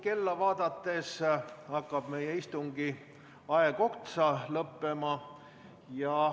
Kella vaadates pean ütlema, et meie istungi aeg hakkab otsa lõppema.